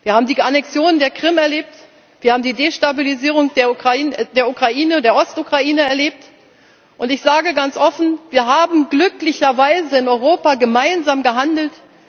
Wir haben die Annexion der Krim erlebt, wir haben die Destabilisierung der Ost Ukraine erlebt, und ich sage ganz offen Wir haben glücklicherweise in Europa gemeinsam gehandelt.